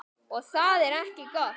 Og það er ekki gott.